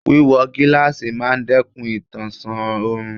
Wíwọ gíláàsì máa dẹ́kun ìtànṣán òrùn.